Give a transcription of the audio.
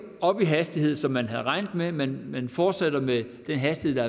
op i hastighed som man havde regnet med men man fortsætter med den hastighed